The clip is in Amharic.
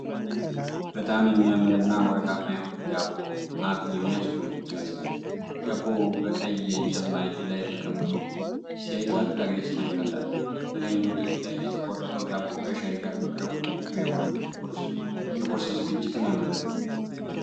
በጣም የሚያምር እና ወርቃማ የሆነ ዳቦ አፍ የሚያስጎመጅ ይመስላል። ዳቦው በቀይ የእንጨት ማዕድ ላይ ተቀምጦ ሲታይ ታላቅ ደስታን ይፈጥራል። በላይኛው ጥግ ላይ የተቆረጠው ዳቦ ከሻይ ጋር መቅረቡ፣ ልዩ የሆነ የቁርስ ዝግጅትን ያመለክታል!